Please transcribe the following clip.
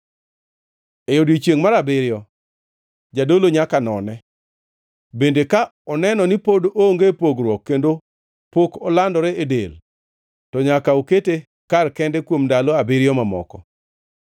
E odiechiengʼ mar abiriyo jadolo nyaka none, bende ka oneno ni pod onge pogruok kendo pok olandore e del, to nyaka okete kar kende kuom ndalo abiriyo mamoko.